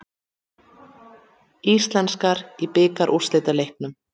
Íslenskar í bikarúrslitaleiknum